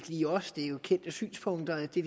lige os det er jo kendte synspunkter det